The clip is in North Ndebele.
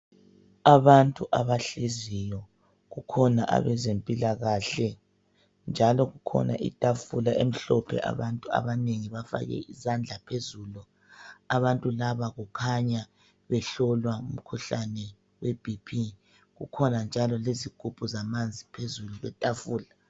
Abantu abahleziyo. Kukhona ebezempilakahle, njalo kukhona itafula emhlophe abantu abanengi bafake izandla phezulu. Abantu laba kukhanya behlolwa umkhuhlane weBP. Kukhona njalo lezigubhu zamanzi phezulu kwetafula.